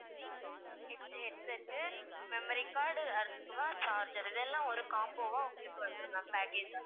next headset உ memory card உ அடுத்ததா charger இதெல்லாம் ஒரு combo வா உங்களுக்கு வந்திடும் ma'am package ஆ